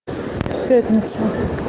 пятница